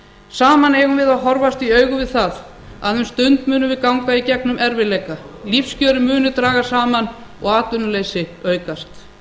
saman eigum við að horfast í augu við það að um stund munum við ganga í gegnum erfiðleika lífskjörin munu dragast saman og atvinnuleysi aukast